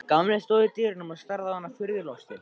Gamli stóð í dyrunum og starði á hana furðu lostinn.